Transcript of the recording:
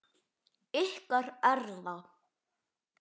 Ykkar Erla.